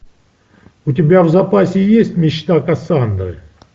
у тебя в запасе есть мечта кассандры